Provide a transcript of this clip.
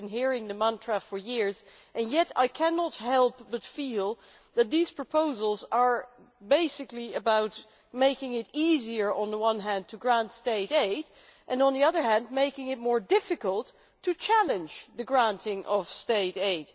We have been hearing the mantra for years, yet I cannot help but feel that these proposals are basically about making it easier on the one hand to grant state aid and on the other hand, making it more difficult to challenge the granting of state aid